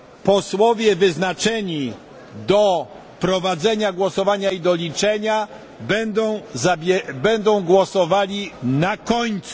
Posłowie wyznaczeni do prowadzenia głosowania i do liczenia, będą głosowali na końcu.